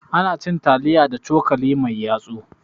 Anacin taliya da cokali mai yatsu